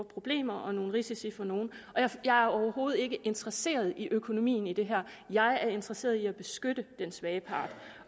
problemer og nogle risici for nogle og jeg er overhovedet ikke interesseret i økonomien i det her jeg er interesseret i at beskytte den svage part